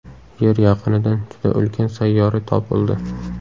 Yer yaqinidan juda ulkan sayyora topildi.